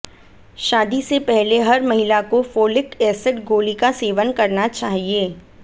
शादी से पहले हर महिला को फोलिक एसिड गोली का सेवन करना चाहिए